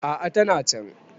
a a tana can